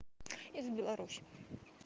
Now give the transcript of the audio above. из беларуси